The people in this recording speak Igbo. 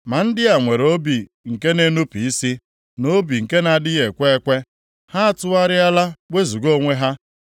Ma ndị a nwere obi nke na-enupu isi, na obi nke na-adịghị ekwe ekwe. Ha atụgharịala wezuga onwe ha.